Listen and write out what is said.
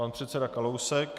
Pan předseda Kalousek.